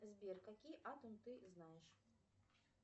сбер какие атомы ты знаешь